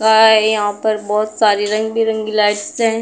आ आ यहाँ पर बहुत सारी रंग बिरंगी लाइट्स हैं।